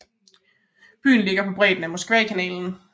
Byen ligger på bredden af Moskvakanalen